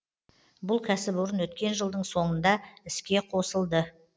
бұл кәсіпорын өткен жылдың соңында іске қосылды